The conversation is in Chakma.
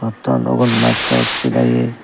te aro ugun mattosse dagi